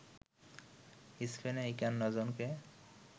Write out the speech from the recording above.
স্পেনে ৫১ জনকে